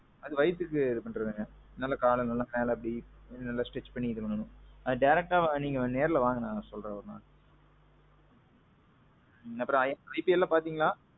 அது வயிதிக்கு பண்றதுங்க. நல்ல கால மேல அப்பிடி நல்லா stretch பண்ணிக்கணும். அது directஅ நீங்க நேர்ல வாங்க சொல்றேன் ஒருநாளைக்கு. அப்பறோம் என் routine பாத்தீங்கன்னா.